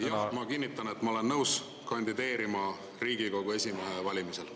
Jah, ma kinnitan, et ma olen nõus kandideerima Riigikogu esimehe valimisel.